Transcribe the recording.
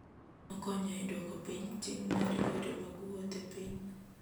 Okonyo e duoko piny ting' mar yore mag wuoth e piny.